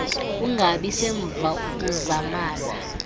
ungabi semva uzamana